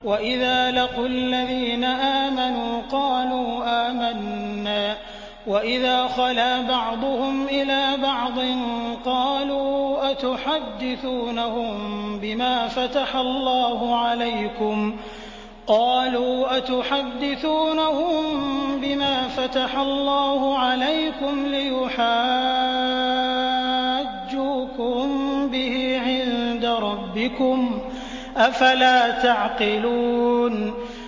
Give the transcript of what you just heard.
وَإِذَا لَقُوا الَّذِينَ آمَنُوا قَالُوا آمَنَّا وَإِذَا خَلَا بَعْضُهُمْ إِلَىٰ بَعْضٍ قَالُوا أَتُحَدِّثُونَهُم بِمَا فَتَحَ اللَّهُ عَلَيْكُمْ لِيُحَاجُّوكُم بِهِ عِندَ رَبِّكُمْ ۚ أَفَلَا تَعْقِلُونَ